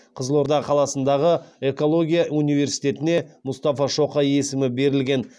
қызылорда қаласындағы экология университетіне мұстафа шоқай есімі берілген